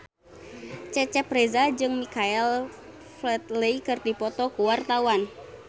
Cecep Reza jeung Michael Flatley keur dipoto ku wartawan